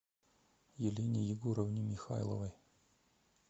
елене егоровне михайловой